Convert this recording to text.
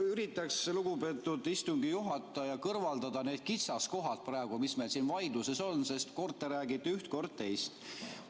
Üritaks, lugupeetud istungi juhataja, kõrvaldada need kitsaskohad, mis meil siin vaidluses on, sest kord te räägite üht, kord teist.